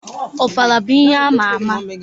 Ofala bụ ihe ama ama.